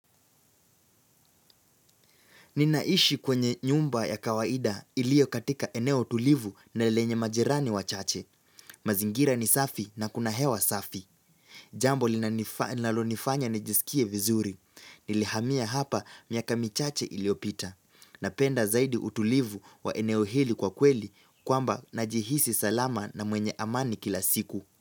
Ninaishi kwenye nyumba ya kawaida ilio katika eneo tulivu na lenye majirani wa chache. Mazingira ni safi na kuna hewa safi. Jambo linalonifanya nijisikie vizuri. Nilihamia hapa miaka michache iliopita. Napenda zaidi utulivu wa eneo hili kwa kweli kwamba najihisi salama na mwenye amani kila siku.